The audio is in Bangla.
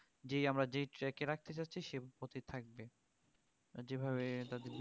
যেই আমরা যেই track এ রাখতে চাচ্ছি সেই পথেই থাকবে আর যেভাবে তাদের